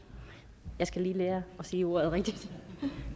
jeg skal lige lære at sige ordet rigtigt